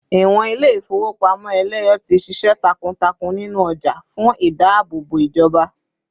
ìwọn ilé ifowopamọ eleyo ti sise takuntakun ninu oja fún ìdáàbòbò ijoba